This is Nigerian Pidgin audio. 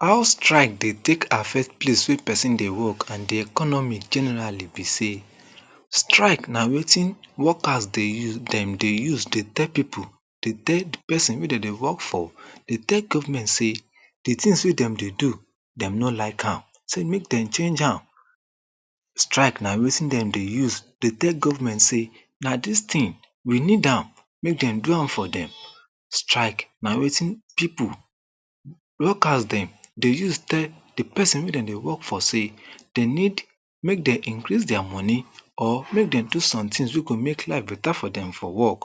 how strike dey take affect place wey pesin dey work and the economy generally be sey strike na wetin workers dey use dem dey use dey tell people dey tell pesin wey dem dey work for dey tell Government sey the tings wey dem dey do dem no like am sey make dem change am strike na wetin dem dey use dey tell goverment sey na this ting we need am make them do am for dem strike na wetin people workers dem dey use tell the pesin wey them dey work for sey they need make them increase their money or make them do someting wey go make life better for dem for work